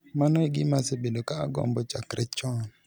Mano e gima asebedo ka agombo chakre chon.